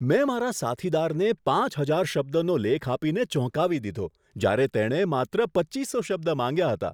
મેં મારા સાથીદારને પાંચ હજાર શબ્દનો લેખ આપીને ચોંકાવી દીધો જ્યારે તેણે માત્ર પચ્ચીસો શબ્દ માંગ્યા હતા.